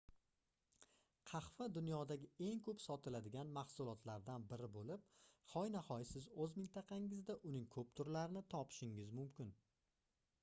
qahva dunyodagi eng koʻp sotiladigan mahsulotlardan biri boʻlib hoynahoy siz oʻz mintaqangizda uning koʻp turlarini topishingiz mumkin